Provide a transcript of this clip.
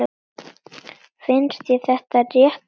Finnst þér það rétt tala?